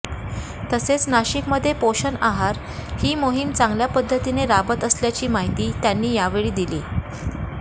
तसेच नाशिकमध्ये पोषण आहार ही मोहीम चांगल्या पद्धतीने राबत असल्याची माहिती त्यांनी यावेळी दिली